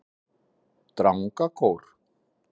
Drangakór